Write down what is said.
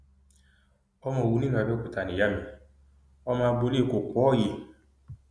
ọmọ òwú ní ìlú abẹọkútà ni ìyá mi ọmọ agboolé kọpọọyé